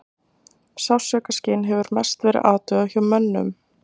Sársaukaskyn hefur mest verið athugað hjá mönnum.